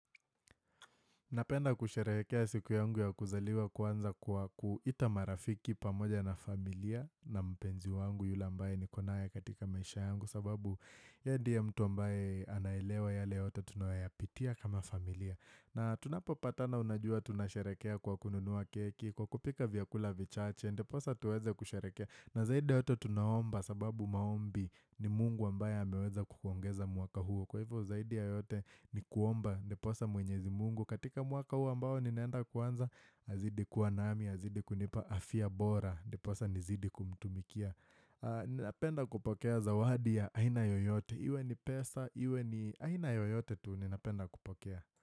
Napenda kusherehekea siku yangu ya kuzaliwa kwanza kwa kuwaita marafiki pamoja na familia na mpenzi wangu yule ambaye niko naye katika maisha yangu sababu yeye ndiye mtu ambaye anaelewa yale yote tunayopitia kama familia. Na tunapopatana unajua tunasherehekea kwa kununua keki kwa kupika vyakula vichache ndiposa tuweze kusherehekea. Na zaidi yote tunaomba sababu maombi ni mungu ambaye ameweza kutuongeza mwaka huo Kwa hivyo zaidi yote ni kuomba ndiposa mwenyezi mungu katika mwaka huo ambao ninaenda kuanza azidi kuwa nami, azidi kunipa afya bora Ndiposa nizidi kumtumikia Ninapenda kupokea zawadi ya aina yoyote Iwe ni pesa, iwe ni aina yoyote tu ninapenda kupokea.